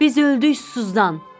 Biz öldük susuzdan.